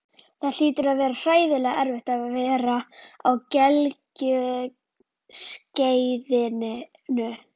Það hlýtur að vera hræðilega erfitt að vera á gelgjuskeiðinu.